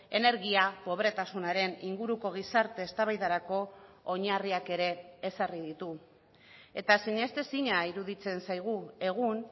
energia pobretasunaren inguruko gizarte eztabaidarako oinarriak ere ezarri ditu eta sinestezina iruditzen zaigu egun